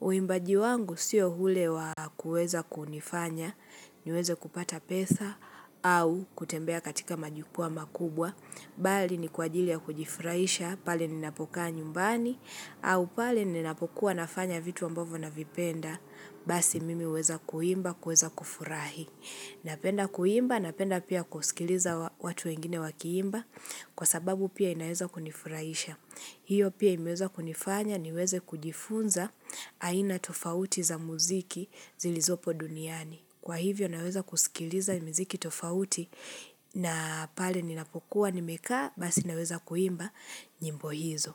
Uimbaji wangu sio hule wa kuweza kunifanya niweze kupata pesa au kutembea katika majukwa makubwa Bali ni kwa ajili ya kujifurahisha pale ninapokaa nyumbani au pale ninapokuwa nafanya vitu ambavo na vipenda Basi mimi uweza kuimba, kuweza kufurahi Napenda kuimba, napenda pia kusikiliza wa watu wengine wakiimba Kwa sababu pia inaeza kunifurahisha hiyo pia imeweza kunifanya niweze kujifunza aina tofauti za muziki zilizopo duniani. Kwa hivyo naweza kusikiliza muziki tofauti na pale ninapokuwa nimekaa basi naweza kuimba nyimbo hizo.